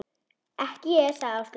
Ekki ég sagði Áslaug.